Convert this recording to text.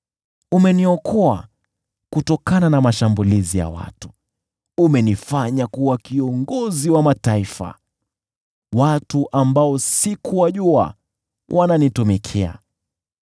Umeniokoa kutokana na mashambulizi ya watu; umenifanya kuwa kiongozi wa mataifa, watu ambao sikuwajua wananitumikia.